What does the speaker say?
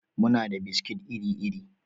Muna da biskit iri-iri.